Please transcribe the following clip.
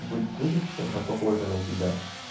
быть будет чем-то похожа на тебя